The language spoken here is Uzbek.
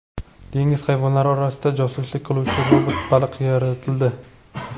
Dengiz hayvonlari orasida josuslik qiluvchi robot baliq yaratildi .